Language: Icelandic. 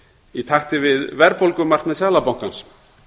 í takti við verðbólgumarkmið seðlabankans